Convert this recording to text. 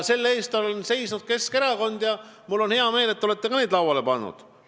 Selle eest on seisnud Keskerakond ja mul on hea meel, et ka teie olete neid lauale pannud.